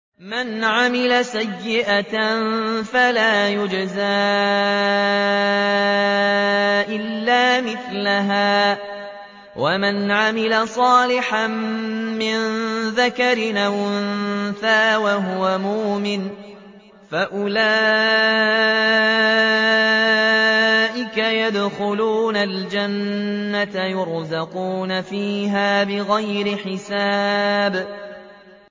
مَنْ عَمِلَ سَيِّئَةً فَلَا يُجْزَىٰ إِلَّا مِثْلَهَا ۖ وَمَنْ عَمِلَ صَالِحًا مِّن ذَكَرٍ أَوْ أُنثَىٰ وَهُوَ مُؤْمِنٌ فَأُولَٰئِكَ يَدْخُلُونَ الْجَنَّةَ يُرْزَقُونَ فِيهَا بِغَيْرِ حِسَابٍ